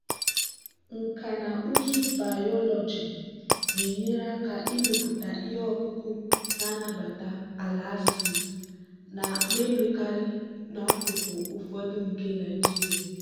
nkà na ụzụ bayoloji na-enyere aka ịmepụta ihe ọkụkụ na-anabata ala acid na-emekarị n'akụkụ ụfọdụ nke nigeria.